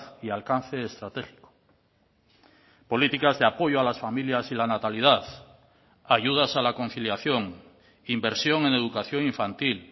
y alcance estratégico políticas de apoyo a las familias y la natalidad ayudas a la conciliación inversión en educación infantil